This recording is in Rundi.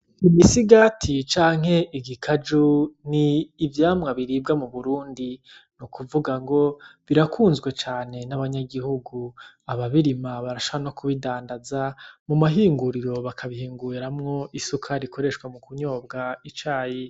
Imisigati canke igikaju ni ivyamwa biribwa muburundi nukuvugango birakunzwe cane n'abanyagihugu , ababirima barashobora no kubidandaza mumahinguriro, bakabihinguramwo isukari ishobora kunyobwa mucayi.